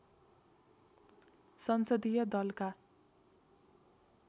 संसदीय दलका